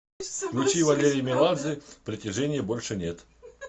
включи валерий меладзе притяженья больше нет